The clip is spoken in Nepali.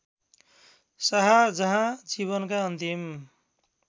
शाहजहाँ जीवनका अन्तिम